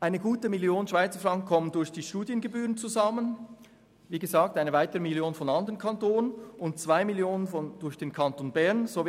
Eine gute Million Franken kommt durch die Studiengebühren zusammen, eine weitere Million stammt von anderen Kantonen, und 2 Mio. Franken werden vom Kanton Bern übernommen.